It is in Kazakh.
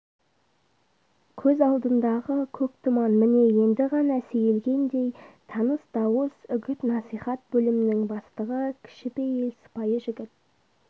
көз алдындағы көк тұман міне енді ғана сейілгендей таныс дауыс үгіт-насихат бөлімнің бастығы кішіпейіл сыпайы жігіт